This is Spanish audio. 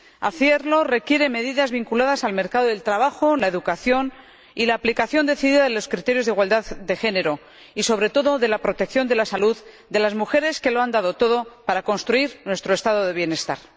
Hacerlo requiere medidas vinculadas al mercado de trabajo y la educación, así como la aplicación decidida de los criterios de igualdad de género y, sobre todo, la protección de la salud de las mujeres que lo han dado todo para construir nuestro Estado del bienestar.